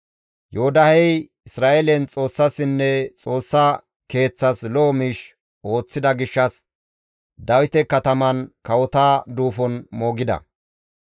Yoodahey Isra7eelen Xoossassinne Xoossa Keeththas lo7o miish ooththida gishshas Dawite kataman kawota duufon moogida.